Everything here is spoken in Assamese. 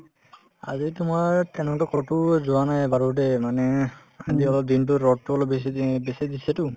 আজি তোমাৰ তেনেকুৱা কতো যোৱা নাই বাৰু দে মানে আজি অলপ দিনতো ৰদতো অলপ বেছি দি বেছি দিছেতো